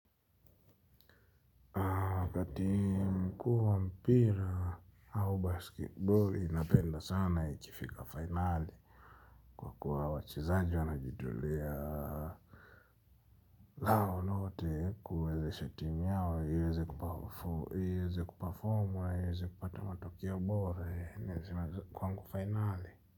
Wakati mkuu wa mpira au basketbol napenda sana ikifika finali. Kwa kuwa wachezaji wanajitolea hayo lote kuwezesha timu yao iweze kuperform iweze kupata matokeo bora kwangu finali.